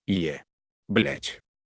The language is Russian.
е блять